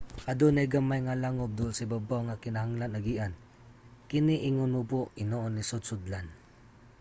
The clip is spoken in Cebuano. adunay gamay nga langub duol sa ibabaw nga kinahanglan agian kini ingon mubo og hinoon lisod sudlan